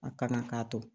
A kana k'a to